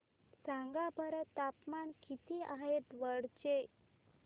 सांगा बरं तापमान किती आहे दौंड चे